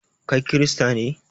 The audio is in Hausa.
Kai kirista ne?